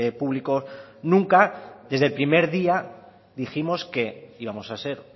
público nunca desde el primer día dijimos que íbamos a ser